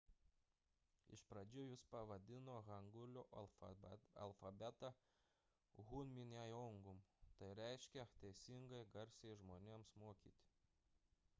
iš pradžių jis pavadino hangulio alfabetą hunminjeongeum tai reiškia teisingi garsai žmonėms mokyti